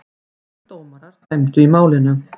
Þrír dómarar dæmdu í málinu.